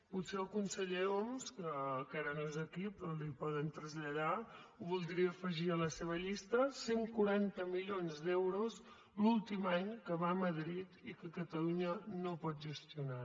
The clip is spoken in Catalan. potser el conseller homs que ara no és aquí però li ho poden traslladar ho voldria afegir a la seva llista cent i quaranta milions d’euros l’últim any que van a madrid i que catalunya no pot gestionar